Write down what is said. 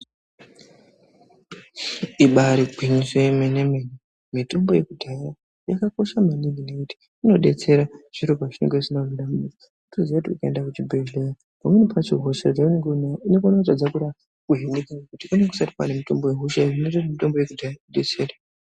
Ibari gwinyiso remene mene mitombo yekudhaya yakakosha maningi ngekuti inodetsera zviro pazvinenge zvisina kumira mushe wotoziva kuti ukaenda kuchibhedhlera pamwe pacho hosha yaunenge unayo inotadzwa kuhinika nekuti panenge pasina mitombo inohina hosha iyi zvinoita kuti mitombo yekudhaya idetsere.